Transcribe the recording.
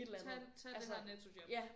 Tag tag det her Netto job